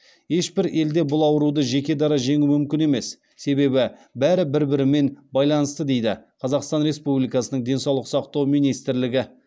ешбір елде бұл ауруды жеке дара жеңу мүмкін емес себебі бәрі бір бірімен байланысты дейді қазақстан республикасының денсаулық сақтау министрлігі